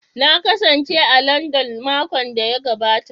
Na kasance a Landan makon da ya gabata